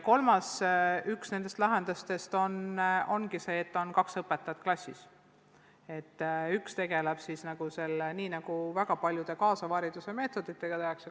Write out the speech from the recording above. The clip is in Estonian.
Üks nendest lahendustest ongi see, et klassis on kaks õpetajat.